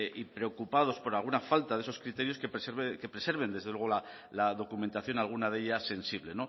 y preocupados por alguna falta de esos criterios que preserven desde luego la documentación alguna de ellas sensible